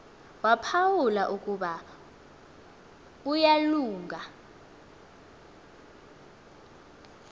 waphawula ukuba uyalunga